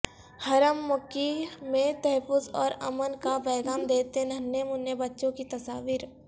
حرم مکی میں تحفظ اور امن کا پیغام دیتے ننھے منے بچوں کی تصاویر